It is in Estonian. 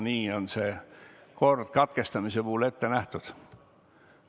Nii on see katkemise puhul ette nähtud.